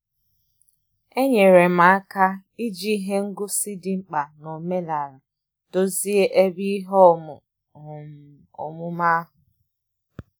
Enyere m aka iji ihe ngosi dị mkpa na omenala dozie ebe ihe omu um omume ahụ.